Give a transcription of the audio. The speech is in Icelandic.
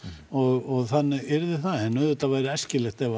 og þannig yrði það en auðvitað væri æskilegt ef